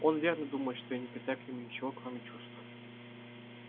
он верно думает что я не питаю к нему ничего кроме чувств